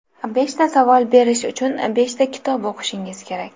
Beshta savol berish uchun beshta kitob o‘qishingiz kerak.